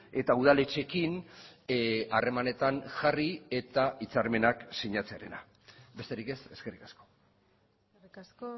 eta udaletxeekin harremanetan jarri eta hitzarmenak sinatzearena besterik ez eskerrik asko eskerrik asko